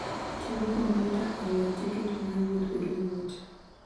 Tiyo gi kompyuta e ng'iewo tiket miyo wuoth bedo mayot.